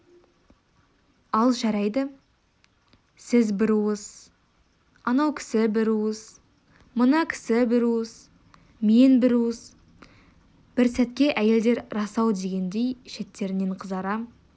ал жарайды сіз бір уыс анау кісі бір уыс мына кісі бір уыс мен бір уыс бір сәтке әйелдер рас-ау дегендей шеттерінен қызара